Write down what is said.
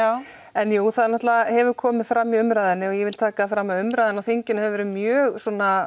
en jú það hefur komið fram í umræðunni og ég vil taka það fram að umræðan á þinginu hefur verið mjög